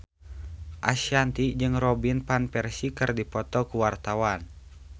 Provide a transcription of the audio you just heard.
Ashanti jeung Robin Van Persie keur dipoto ku wartawan